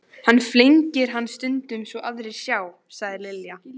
Hann flengir hann stundum svo aðrir sjá, sagði Lilla.